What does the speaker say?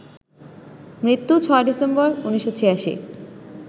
মৃত্যু ৬ ডিসেম্বর, ১৯৮৬